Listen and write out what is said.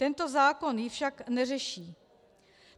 Tento zákon ji však neřeší.